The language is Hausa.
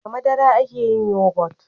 da madara a ke yin yogot